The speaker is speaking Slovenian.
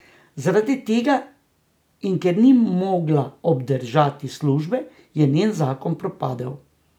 Zaradi tega, in ker ni mogla obdržati službe, je njen zakon propadel.